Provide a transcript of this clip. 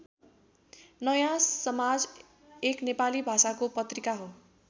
नयाँ समाज एक नेपाली भाषाको पत्रिका हो।